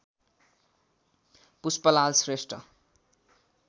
Pushpalal Shrestha